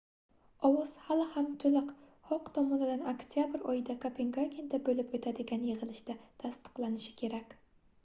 ovoz hali ham toʻliq xoq tomonidan oktyabr oyida kopengagenda boʻlib oʻtadigan yigʻilishida tasdiqlanishi kerak